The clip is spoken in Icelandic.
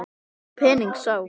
Þá pening sá.